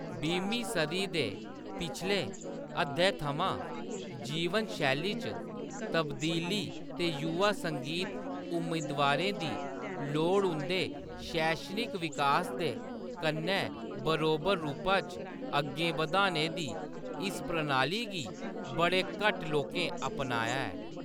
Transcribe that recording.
बीह्मीं सदी दे पिछले अद्धै थमां, जीवन शैली च तब्दीली ते युवा संगीत उम्मीदवारें दी लोड़ उंʼदे शैक्षणिक विकास दे कन्नै बरोबर रूपा च अग्गें बधाने दी इस प्रणाली गी बड़े घट्ट लोकें अपनाया ऐ।